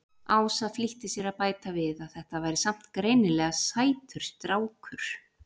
Ása flýtti sér að bæta við að þetta væri samt greinilega sætur strákur.